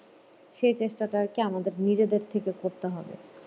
সেই চেষ্টাটা আরকি আমাদের নিজেদের থেকে করতে হবে